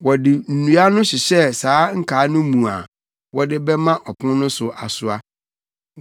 Wɔde nnua no hyehyɛɛ saa nkaa no mu a wɔde bɛma ɔpon no so asoa.